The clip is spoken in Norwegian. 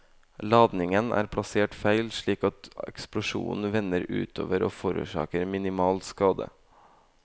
Ladningen er plassert feil slik at eksplosjonen vender utover og forårsaker minimal skade.